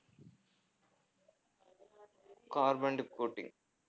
carboned coating